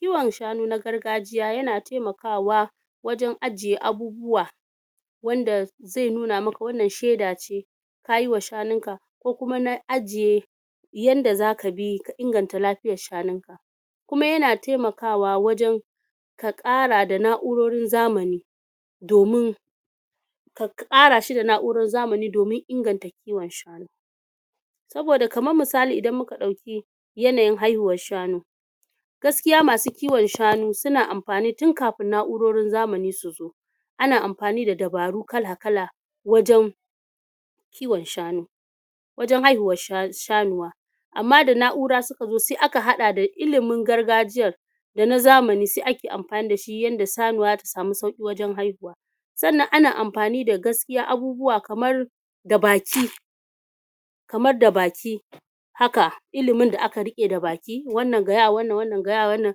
kiwon shanu na gargajiya yana temakawa wajen ajiye abubuwa wanda ze nuna maka wannan shaida ce kayi wa shanun ka ko kuma na ajiye yanda zaka bi ka inganta lafiyar shanun ka kuma yana temakawa wajen ka ƙara da na'urorin zamani domin ka ƙara shi da na'urorin zamani domin inganta kiwon shanu saboda kamar misali idan muka ɗauki yanayin haihuwar shanu gaskiya masu kiwon shanu suna amfani tun kafin na'urorin zamani su zo ana amfani da dabaru kala-kala wajen kiwon shanu wajen haihuwar shanuwa amma da na'ura suka zo se aka haɗa da ilimin gargajiyar da na zamani se ake amfani da shi yanda sanuwa zata samu sauƙi wajen haihuwa sannan ana amfani da gaskiya abubuwa kamar da baki kamar da baki haka ilimin da aka riƙe da baki, wannan gaya wa wanan wannan gaya wa wanan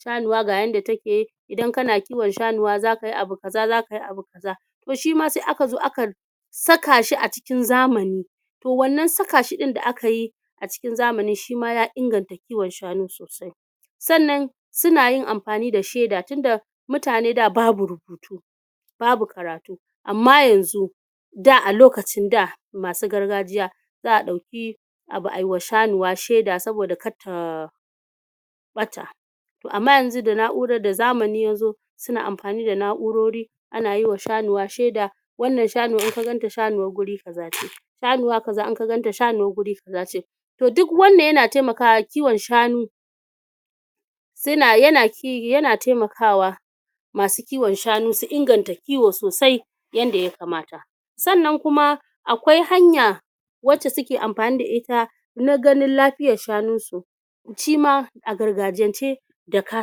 shanuwa ga yanda take idan kana kiwon shanuwa zaka yi abu kaza zaka yi abu kaza to shima se aka zo aka saka shi a cikin zamani to wannan sakashi ɗin da aka yi a cikin zamani shima ya inganta kiwon shanu sosai sannan suna yin amfani da sheda tunda mutane da babu rubutu babu karatu amma yanzu da a lokacin da masu gargajiya za'a ɗauki abu ayi wa shanuwa shaida saboda kar ta ɓata to amma yanzu da zamani ya zo suna amfani da na'urori ana yi wa shanuwa shaida wannan shanuwar in ka ganta shanuwar guri kaza ce shanuwa kaza in ka ganta shanuwar guri kaza ce toh duk wannan yana temakawa kiwon shanu yana temakawa masu kiwon shanu su inganta kiwo sosai yanda ya kamata sannan kuma akwai hanya wace suke amfani da ita na ganin lafiyar shanun su a gargajiyance da ka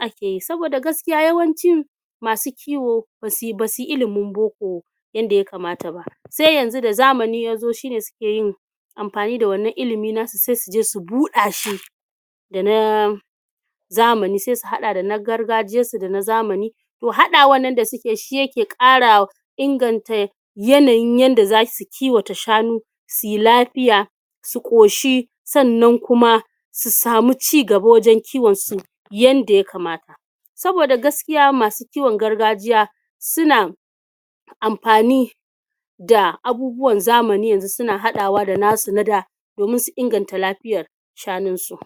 ake yi saboda yawanci masu kiwo basu yi ilimin boko yanda ya kamata ba se yanzu da zamani ya zo shine suke yin amfani da wannan ilimi na su se suje su buɗa shi da na zamani se su haɗa da na gargajiyar su da na zamani to haɗawan nan da suke shi yake ƙara inganta yanayin yanda zasu kiwata shanu suyi lafiya su ƙoshi sannan kuma su samu cigaba wajen kiwon su yanda ya kamata saboda gaskiya masu kiwon gargajiya suna amfani da abubuwan zamani yanzu suna haɗawa da nasu na da domin su inganta lafiyar shanun su